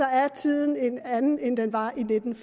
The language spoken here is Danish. er tiden en anden end den var i nitten